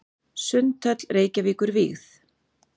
Sundhöll Reykjavíkur vígð.